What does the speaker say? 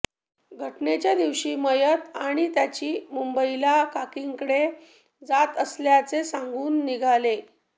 घटनेच्या दिवशी मयत आणि त्याची मुंबईला काकींकडे जात असल्याचे सांगून निघाले